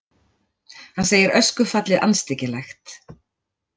Hann segir öskufallið andstyggilegt